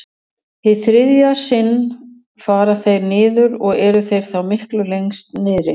Hið þriðja sinn fara þeir niður og eru þeir þá miklu lengst niðri.